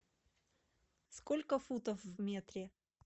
сколько футов в метре